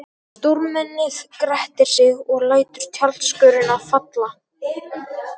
Stórmennið grettir sig og lætur tjaldskörina falla.